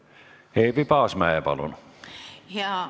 Eevi Paasmäe, palun!